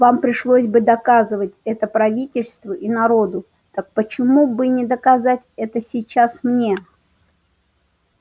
вам пришлось бы доказывать это правительству и народу так почему бы не доказать это сейчас мне